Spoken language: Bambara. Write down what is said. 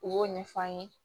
U b'o ɲɛf'an ye